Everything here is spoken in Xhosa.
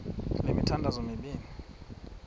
le mithandazo mibini